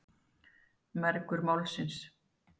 Mergur Málsins.